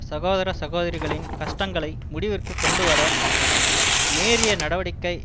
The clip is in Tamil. சகோதர சகோதரிகளின் கஷ்டங்களை முடிவிற்கு கொண்டுவர நேரிய நடவடிக்கை